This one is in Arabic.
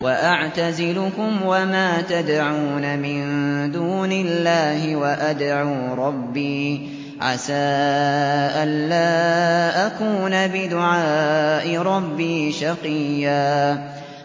وَأَعْتَزِلُكُمْ وَمَا تَدْعُونَ مِن دُونِ اللَّهِ وَأَدْعُو رَبِّي عَسَىٰ أَلَّا أَكُونَ بِدُعَاءِ رَبِّي شَقِيًّا